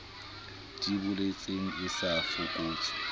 di boletseng e sa fokotse